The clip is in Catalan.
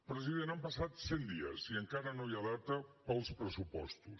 president han passat cent dies i encara no hi ha data per als pressupostos